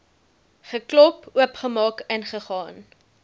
geklop oopgemaak ingegaan